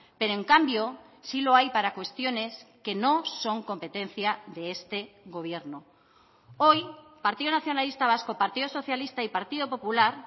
pero en cambio sí lo hay para cuestiones que no son competencia de este gobierno hoy partido nacionalista vasco partido socialista y partido popular